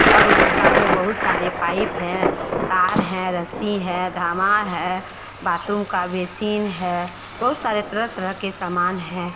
और उस दुकान में बहुत सारे पाइप हैं तार हैं रस्सी हैं धामा है बाथरूम का बेसिन है बहुत सारे तरह तरह के समान हैं।